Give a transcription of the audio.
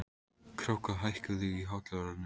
Kráka, hækkaðu í hátalaranum.